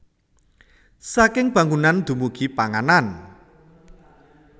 Saking bangunan dumugi panganan